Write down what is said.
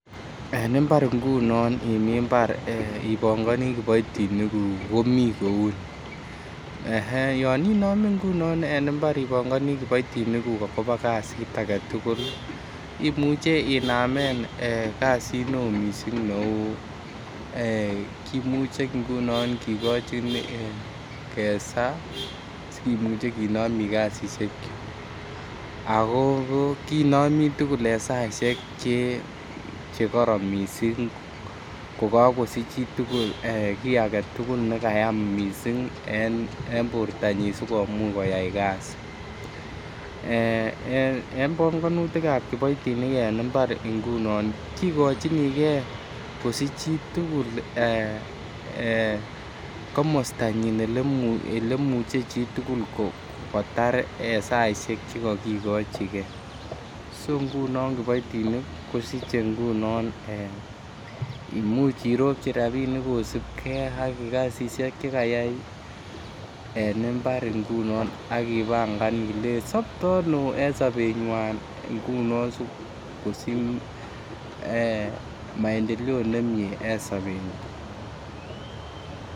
En imbar ngunon ee imii mbar ipongonii kipoitinik nguk komii kouu nii, yon inome ngunon en imbar ipongonii kipoitinik nguk kot kobaa kazit agetugul imuche inamen kazit me ii missing neuu we, kimuchw ngunon kigochin kesaa kimuche kinomi kazishek ako kinomi tugul en saishek Che Che koron missing ko kogosich Chi tugul kii nekayam missing en bortanyiny sikomuch koyay kazit eeh pongonutik chebo kipoitinik en mbar ngunon kigochinigew kosich Chi tugul eeh komostanyin ele muche Chi tugul kotar en saishek Che kokigochigee so ngunon kipoitinik imuche iropji rabinik kosibgee ak kazishek Che kayay en imbar ngunon ak ipangan ilei sopto ano en sobenywan ngunon sikosich maendeleo nemie en sobenywan.